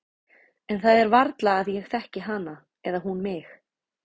En það er varla að ég þekki hana eða hún mig.